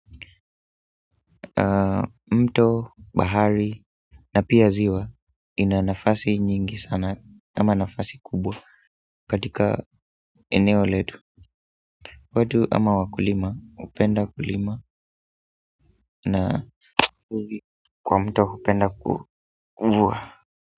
Mto, bahari na pia ziwa ina nafasi nyingi sana ama nafasi kubwa katika eneo letu watu ama wakulima hupenda kulima na wavuvi kwa mto hupenda kuvua.